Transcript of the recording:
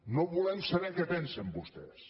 no volem saber què pensen vostès